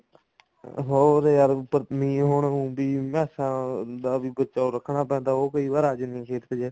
ਹੋਰ ਯਾਰ ਨਹੀਂ ਹੁਣ ਵੀ ਮੈਸਾਂ ਦਾ ਬਚਾ ਰੱਖਣਾ ਪੈਂਦਾ ਉਹ ਕਈ ਵਾਰ ਆ ਜਾਂਦੀਆਂ ਨੇ